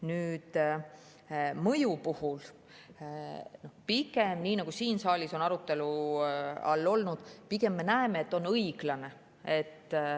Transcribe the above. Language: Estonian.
Nüüd, mõju puhul pigem, nii nagu siin saalis on arutelu all olnud, me näeme, et see on õiglane.